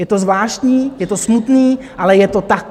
Je to zvláštní, je to smutné, ale je to tak.